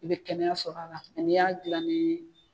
I bɛ kɛnɛya sɔr'a la mɛ y'a dilan ni